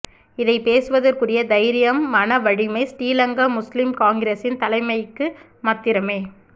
இதை பேசுவதற்குரிய தைரியம் மன வலிமை ஸ்ரீலங்கா முஸ்லிம் காங்கிரஸின் தலைமைக்கு மாத்திரமே